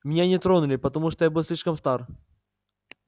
меня не тронули потому что я был слишком стар